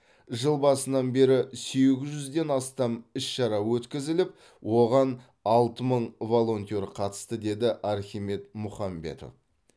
жыл басынан бері сегіз жүзден астам іс шара өткізіліп оған алты мың волонтер қатысты деді архимед мұхамбетов